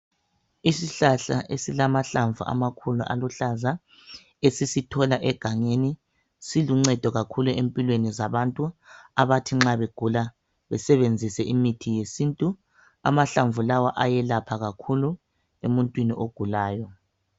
Isihlahla esilamahlamvu amakhulu aluhlaza, esisithola egangeni siluncendo kakhulu empilweni zabantu abathi nxa begula besebenzise imithi yesintu. Amahlamvu lawa ayelapha kakhulu emuntwini ogulayo.